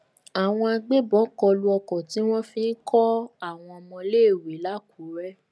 àwọn agbébọn kọ lu ọkọ tí wọn fi ń kọ àwọn ọmọọléèwé lákùrẹ